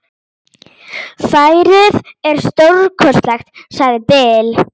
Færið er stórkostlegt, sagði Bill.